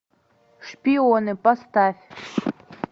шпионы поставь